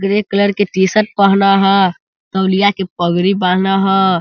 Grey colour के t-shirt पहन ह तौलिया के पगड़ी बाँध ह।